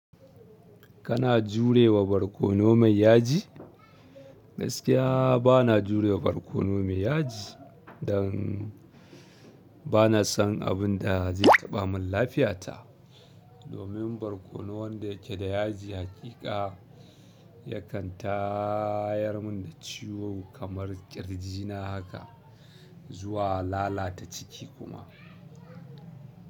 Kana jure wa barkono mai yaji? Gaskiya bana jure wa barkono mai yaji don bana son abin da zai taɓa min lafiyata. Domin barkono wanda yake da yaji haƙiƙa yakan tayar mun da ciwo kamar ƙirji na haka zuwa lalata ciki kuma.